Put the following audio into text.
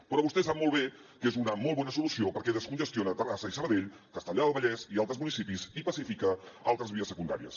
però vostè sap molt bé que és una molt bona solució perquè descongestiona terrassa i sabadell castellar del vallès i altres municipis i pacifica altres vies secundàries